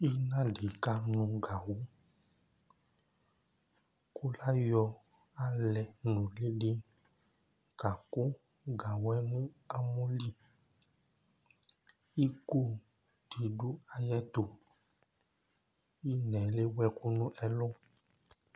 Ɩna dɩ kanʋ gawʋ Kʋ layɔ alɛ nʋlɩ dɩ kakʋ gawʋ yɛ nʋ amɔ li Iko dɩ dʋ ayɛtʋ Ɩna yɛ lewu ɛkʋ nʋ ɛlʋ